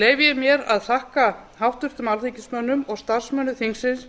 leyfi ég mér að þakka háttvirtum alþingismönnum og starfsmönnum þingsins